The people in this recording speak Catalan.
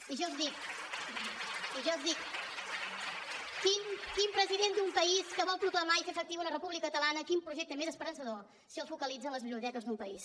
i jo els dic quin president d’un país que vol proclamar i fer efectiva una república catalana quin projecte més esperançador si el focalitza en les biblioteques d’un país